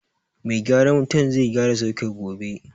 Mai gyaran wuta zai gyara soket gobe